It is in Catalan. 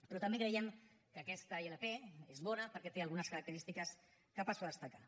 però també creiem que aquesta ilp és bona perquè té algunes característiques que passo a destacar